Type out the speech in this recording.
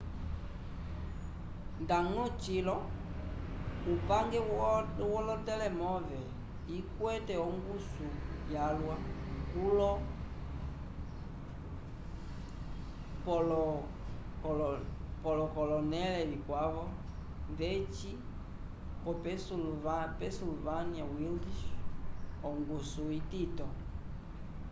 ndañgo cilo upange wolotelemove ikwete ongusu yalwa kulo pole k'olonẽle vikwavo ndeci ko-pennsylvania wilds ongusu itito